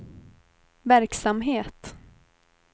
verksamhet